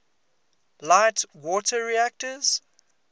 light water reactors